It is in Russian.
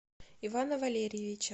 ивана валерьевича